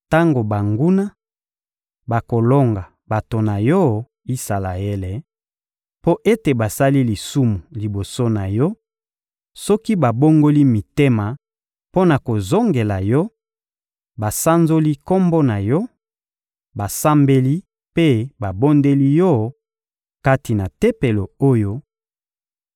Tango banguna bakolonga bato na Yo, Isalaele, mpo ete basali lisumu liboso na Yo, soki babongoli mitema mpo na kozongela Yo, basanzoli Kombo na Yo, basambeli mpe babondeli Yo, kati na Tempelo oyo,